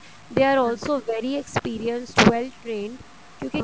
they are also very experience to well trained ਕਿਉਂਕਿ